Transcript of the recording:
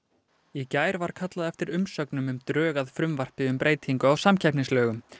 í gær var kallað eftir umsögnum um drög að frumvarpi um breytingu á samkeppnislögum